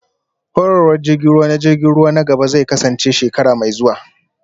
Horarwar jirgin ruwa na jirgin ruwa na gaba zai kasance shekara mai zuwa